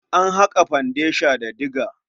An haƙa fandesha da diga.